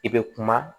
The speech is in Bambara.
I bɛ kuma